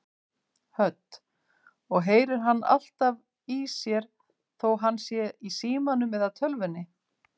Hödd: Og heyrir hann alltaf í þér þó hann sé í símanum eða tölvunni?